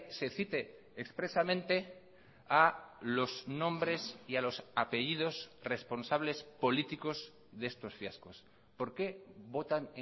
se cite expresamente a los nombres y a los apellidos responsables políticos de estos fiascos por qué votan